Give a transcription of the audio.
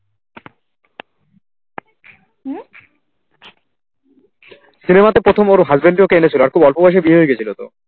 cinema তে প্রথম ওর husband ই ওকে এনেছিল আর খুব অল্প বয়সে বিয়ে গেছিল তো